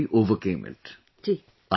you successfully overcame it